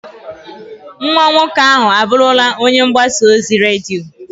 Nwa nwoke ahụ abụrụla onye mgbasa ozi redio.